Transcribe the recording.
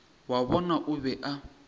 wa bona o be a